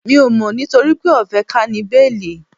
Mi ò mọ̀ nitoripe o fe ka ni béélì